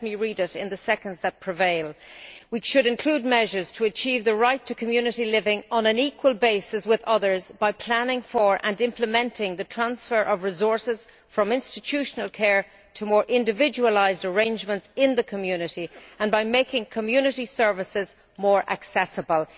Let me read it in the seconds that remain which should include measures to achieve the right to community living on an equal basis with others by planning for and implementing the transfer of resources from institutional care to more individualised arrangements in the community and by making community services more accessible'.